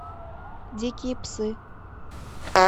дикие псы